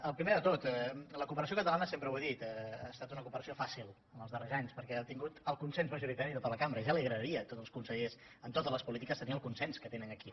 el primer de tot la cooperació catalana sempre ho he dit ha estat una cooperació fàcil en els darrers anys per què ha obtingut el consens majoritari de tota la cambra ja els agradaria a tots els consellers en totes les po lítiques tenir el consens que tenen aquí